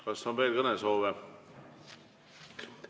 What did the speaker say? Kas on veel kõnesoove?